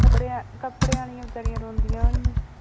ਕੱਪੜਿਆਂ ਕੱਪੜਿਆਂ ਵਾਲੀਆਂ ਬੇਚਾਰੀਆਂ ਰੋਂਦੀਆਂ ਹੋਣੀਆਂ।